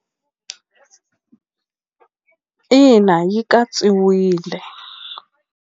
Ina yi katsiwile.